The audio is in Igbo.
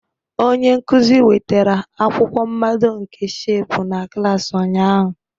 Onye nkuzi wetara akwụkwọ mmado nke shepu na klas ụnyaahụ.